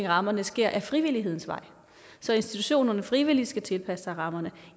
rammerne sker ad frivillighedens vej så institutionerne frivilligt skal tilpasse sig rammerne